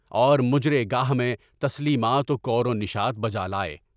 اور مجرے گاہ میں تسلیمات و کورنیشات بجالائے۔